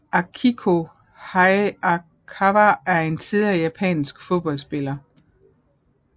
Akiko Hayakawa er en tidligere japansk fodboldspiller